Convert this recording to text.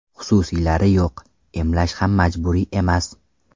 Xususiylari yo‘q, emlash ham majburiy emas.